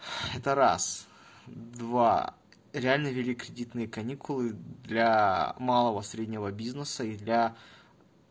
это раз и два реально ввели кредитные каникулы для малого и среднего бизнеса и для